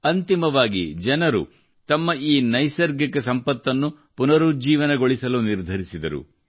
ಅಂತಿಮವಾಗಿ ಜನರು ತಮ್ಮ ಈ ನೈಸರ್ಗಿಕ ಸಂಪತ್ತನ್ನು ಪುನರುಜ್ಜೀವನಗೊಳಿಸಲು ನಿರ್ಧರಿಸಿದರು